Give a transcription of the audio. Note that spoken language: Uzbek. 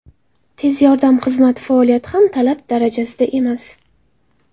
Tez yordam xizmati faoliyati ham talab darajasida emas.